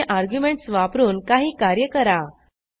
दिलेली अर्ग्युमेंटस वापरून काही कार्य करा